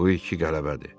Bu ki qələbədir.